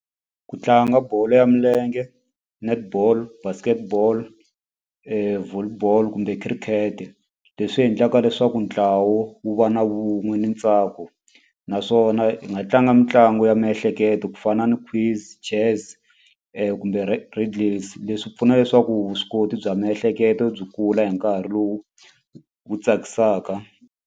Ku tlanga bolo ya milenge, netball, basketball, volleyball, kumbe khirikete. Leswi endlaka leswaku ntlawa wu va na vun'we ni ntsako. Naswona hi nga tlanga mitlangu ya miehleketo ku fana ni quiz, chess kumbe riddles. Leswi pfuna leswaku vuswikoti bya miehleketo byi kula hi nkarhi lowu wu tsakisaka.